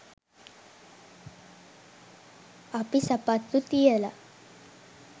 අපි සපත්තු තියල